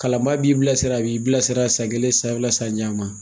Kalanbaa b'i bilasira, a b'i bilasira san kelen, san fila, san caman